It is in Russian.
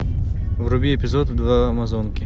вруби эпизод два амазонки